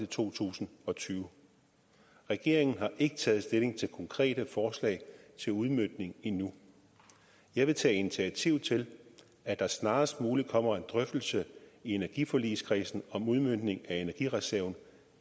to tusind og tyve regeringen har ikke taget stilling til konkrete forslag til udmøntning endnu jeg vil tage initiativ til at der snarest muligt kommer en drøftelse i energiforligskredsen om udmøntning af energireserven